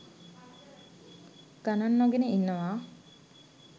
ගණන් නොගෙන ඉන්නවා